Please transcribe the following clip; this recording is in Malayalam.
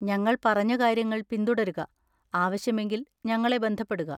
ഞങ്ങൾ പറഞ്ഞ കാര്യങ്ങൾ പിന്തുടരുക, ആവശ്യമെങ്കിൽ ഞങ്ങളെ ബന്ധപ്പെടുക.